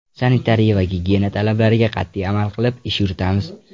Sanitariya va gigiyena talablariga qat’iy amal qilib, ish yuritamiz”.